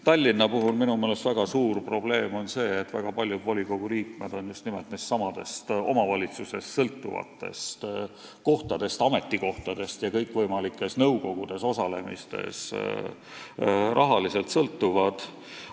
Tallinnas on minu meelest väga suur probleem see, et väga paljud volikogu liikmed on just nimelt nendestsamadest omavalitsuse ametikohtadest ja kõikvõimalikes nõukogudes osalemisest rahaliselt sõltuvad.